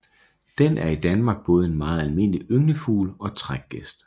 Den er i Danmark både en meget almindelig ynglefugl og trækgæst